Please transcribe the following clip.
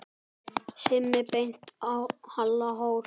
Simmi benti á Halla hor.